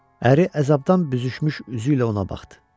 Əri əzabdan büzüşmüş üzü ilə ona baxdı.